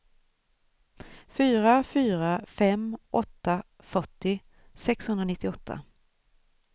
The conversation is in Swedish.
fyra fyra fem åtta fyrtio sexhundranittioåtta